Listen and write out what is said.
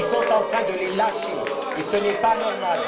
Elles sont en train de les lâcher, et ce n'est pas normal.